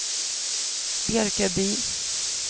Björköby